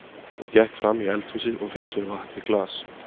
Hún gekk fram í eldhúsið og fékk sér vatn í glas.